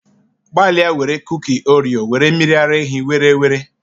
Gbalịa were kuki Oreo were mmiri ara ehi were were.